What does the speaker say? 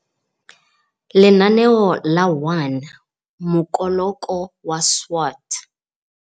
Lenaneo la 1 - Mokoloko wa SWOT.